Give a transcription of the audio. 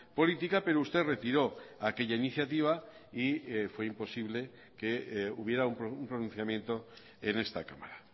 política pero usted retiró aquella iniciativa y fue imposible que hubiera un pronunciamiento en esta cámara